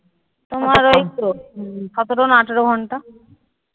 তোমার ওই তো সতেরো না আঠেরো ঘন্টা